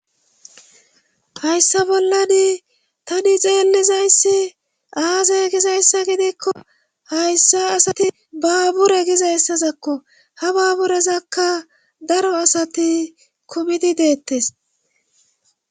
hayssa bollani tani xeenlizayssi aaze gizayssa gideekko hayssa asati baabure gizayssazakko ha baaburezakka daro asati komidi deettes